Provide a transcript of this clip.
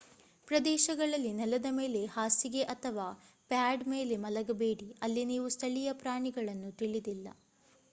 ಪ್ರದೇಶಗಳಲ್ಲಿ ನೆಲದ ಮೇಲೆ ಹಾಸಿಗೆ ಅಥವಾ ಪ್ಯಾಡ್ ಮೇಲೆ ಮಲಗಬೇಡಿ ಅಲ್ಲಿ ನೀವು ಸ್ಥಳೀಯ ಪ್ರಾಣಿಗಳನ್ನು ತಿಳಿದಿಲ್ಲ